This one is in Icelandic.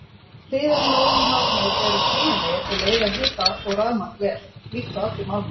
Hliðarmálmarnir eru teygjanlegir og leiða hita og rafmagn vel, líkt og allir málmar.